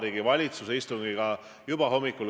Minu arvates ei liigu te selles suunas.